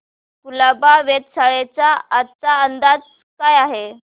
कुलाबा वेधशाळेचा आजचा अंदाज काय आहे